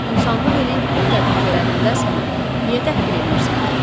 İnsanlıq eləyib pul təklif elədim də sənə, niyə təhqir eləyirsən ki?